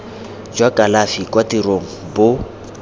jwa kalafi kwa tirong bo